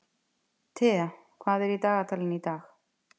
Thea, hvað er í dagatalinu í dag?